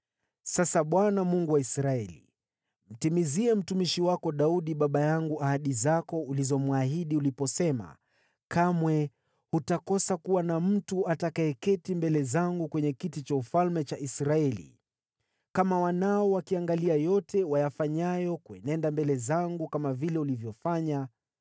“Sasa Bwana , Mungu wa Israeli, mtimizie mtumishi wako Daudi baba yangu ahadi zako ulizomwahidi uliposema, ‘Kamwe hutakosa kuwa na mtu atakayeketi mbele zangu kwenye kiti cha ufalme cha Israeli, kama wanao wakiangalia yote wayafanyayo kuenenda mbele zangu kama vile ulivyofanya.’